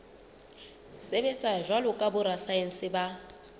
sebetsa jwalo ka borasaense ba